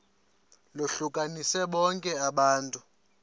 lohlukanise bonke abantu